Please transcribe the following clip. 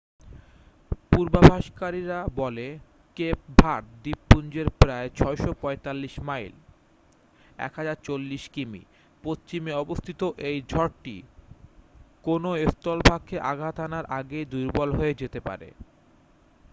পূর্বাভাসকারীরা বলে Cape Verde দ্বীপপুঞ্জের প্রায় ৬৪৫ মাইল ১০৪০ কিমি পশ্চিমে অবস্থিত এই ঝড়টি কোন স্থলভাগকে আঘাত হানার আগেই দুর্বল হয়ে যেতে পারে।